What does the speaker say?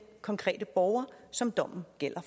konkrete borger som dommen gælder